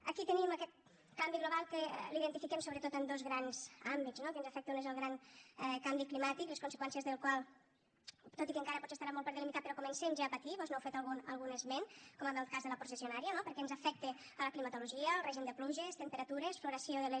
aquí tenim aquest canvi global que l’identifiquem sobretot en dos grans àmbits no que ens afecta un és el gran canvi climàtic les conseqüències del qual tot i que encara potser estaran molt per delimitar però comencem ja a patir vós n’heu fet algun esment com en el cas de la processionària no perquè ens afecta la climatologia el règim de pluges temperatures floració de les